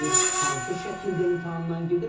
Hansı şəkildə imtahandan gedir?